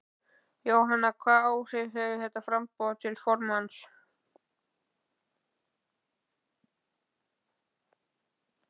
Jóhanna: Hvaða áhrif hefur þetta á framboð til formanns?